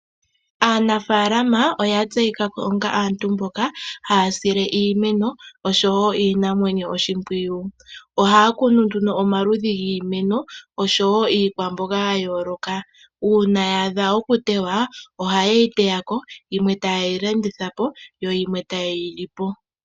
Aanafalama oyatseyika ko onga aantu mboka haya sile iimeno, oshowo iinamwenyo oshimpwiyu. Ohaya kunu nduno omaludhi giimeno, oshowo iikwamboga ya yooloka. Uuna ya adha okuteywa ohayeyi teyako, yimwe tayeyi landithapo, nayimwe tayeyi li po.